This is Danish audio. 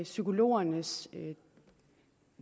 psykologernes